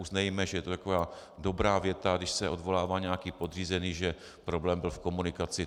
Uznejte, že je to taková dobrá věta, když se odvolává nějaký podřízený, že problém byl v komunikaci.